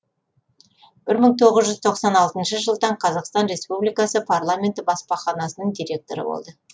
бір мың тоғыз жүз тоқсан алтыншы жылдан қазақстан республикасы парламенті баспаханасының директоры болды